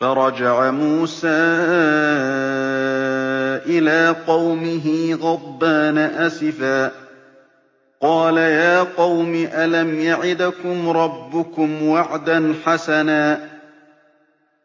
فَرَجَعَ مُوسَىٰ إِلَىٰ قَوْمِهِ غَضْبَانَ أَسِفًا ۚ قَالَ يَا قَوْمِ أَلَمْ يَعِدْكُمْ رَبُّكُمْ وَعْدًا حَسَنًا ۚ